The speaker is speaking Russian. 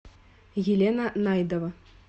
елена найдова